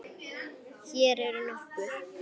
Hér eru nokkur